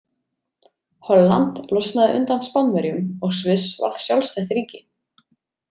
Holland losnaði undan Spánverjum og Sviss varð sjálfstætt ríki.